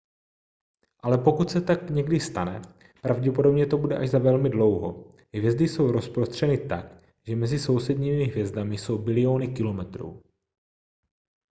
ale pokud se to někdy stane pravděpodobně to bude až za velmi dlouho hvězdy jsou rozprostřeny tak že mezi sousedními hvězdami jsou biliony kilometrů